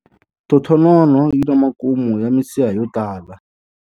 Thothonono yi na makumu ya misiha yo tala.